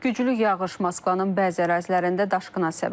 Güclü yağış Moskvanın bəzi ərazilərində daşqına səbəb olub.